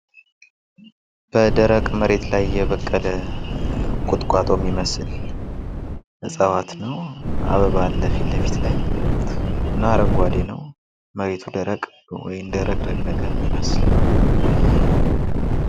በደረቅ መሬት ላይ የበቀለ ቁጥቋጦ የሚመስል እጽዋት ነው። አበባ አለ ፊት ለፊት ላይ አረንጓዴ ነው። መሬቱ ደረቅ እንደ ረግረግ ነገር የሚመስል።